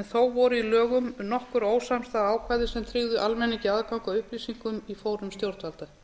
en þó voru í lögum nokkur ósamstæð ákvæði sem tryggðu almenningi aðgang að upplýsingum í fórum stjórnvalda